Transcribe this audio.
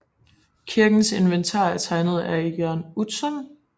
Kirkens inventar er tegnet af Jørn Utzon